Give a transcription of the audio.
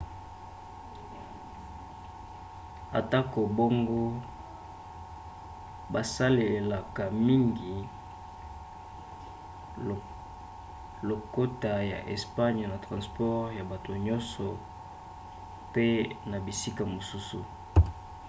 atako bongo basalelaka mingi lokota ya espagne na transport ya bato nyonso pe na bisika mosusu